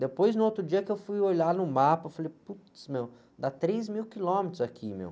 Depois, no outro dia, que eu fui olhar no mapa, eu falei, putz, meu, dá três mil quilômetros daqui, meu.